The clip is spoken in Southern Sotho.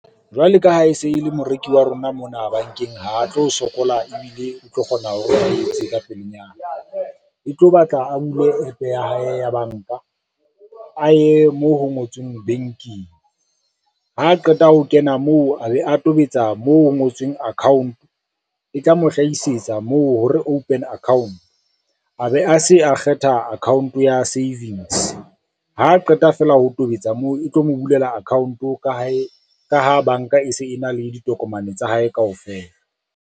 Jwale ka ha e se e le moreki wa rona mona bankeng ha tlo sokola ebile o tlo kgona hore o etse ka pelenyana. E tlo batla a bule app ya hae ya banka a ye moo ho ngotsweng banking, ha qeta ho kena moo a be a tobetsa moo ho ngotsweng account e tla mo hlahisetsa moo hore open account, a be a se a kgetha account ya savings, ha qeta fela ho tobetsa moo e tlo mo bulela account-o ka ha banka e se e na le ditokomane tsa hae kaofela.